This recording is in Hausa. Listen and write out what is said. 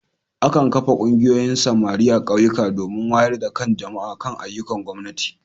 Akan kafa Ƙungiyoyin samari a Ƙauyuka domin wayar da kan jama'a kan ayyukan gwamnati.